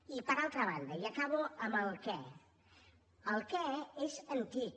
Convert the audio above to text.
i per altra banda i acabo amb el què el què és antic